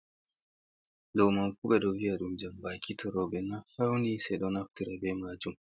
Ɗo mam fu ɓe ɗo vi'a ɗum jambaaki. To rowɓe na fawni se ɗo naftira be maajum.